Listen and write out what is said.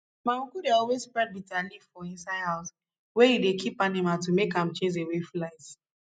my uncle dey always spread bitter leaf for inside house wey e dey keep animal to make am chase away flies